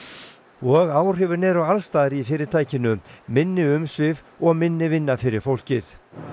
og áhrifin eru alls staðar í fyrirtækinu minni umsvif og minni vinna fyrir fólkið